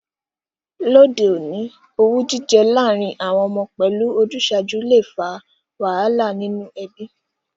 Lóde ọ̀ní, owú jijẹ lárìn àwon ọmọ pẹ́lu ojúsàju le fa wàhálà nínú ebí